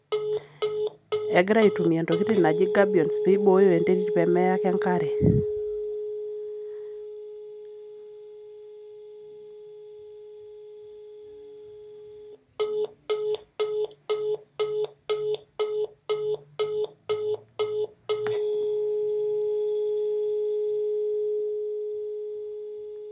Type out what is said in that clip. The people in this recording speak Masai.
Egira aitumia intokiting naji gabbions piboyo enterit pemeya ake enkare.